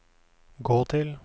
gå til